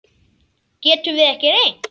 Getum við ekki reynt?